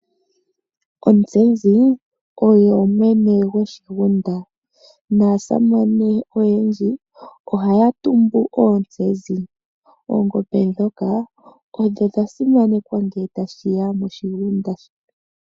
Ontsezi oyo mwene goshigunda naasamane oyendji ohaya tumbu oontsenzi. Oongombe ndhoka odho dha simanekwa ngele tashiya moshigunda.